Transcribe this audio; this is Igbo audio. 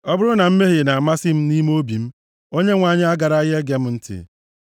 Ọ bụrụ na mmehie na-amasị m nʼime obi m, Onyenwe anyị agaraghị ege m ntị;